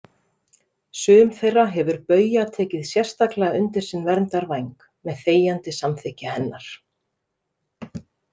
Sum þeirra hefur Bauja tekið sérstaklega undir sinn verndarvæng, með þegjandi samþykki hennar.